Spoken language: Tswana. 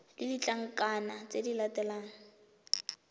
le ditlankana tse di latelang